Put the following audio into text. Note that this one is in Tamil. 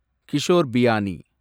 கிஷோர் பியானி